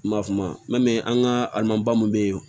N m'a f'o ma mɛn an ka alimanba min be yen o